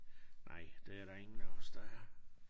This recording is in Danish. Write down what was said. Nej det er der ingen af os der er